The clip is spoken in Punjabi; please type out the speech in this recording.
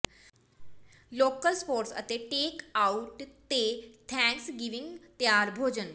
ਲੋਕਲ ਸਪੋਰਟਸ ਅਤੇ ਟੇਕ ਆਊਟ ਤੇ ਥੈਂਕਸਗਿਵਿੰਗ ਤਿਆਰ ਭੋਜਨ